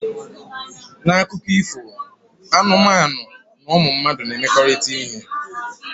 Na akụkọ ifo anụmanụ na ụmụ mmadụ na-emekọrịta ihe